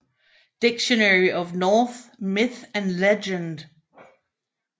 Dictionary of Norse Myth and Legend